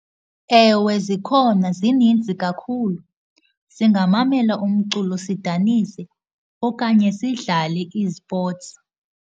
Ewe, zikhona, zininzi kakhulu. Singamamela umculo sidanise okanye sidlale izipotsi.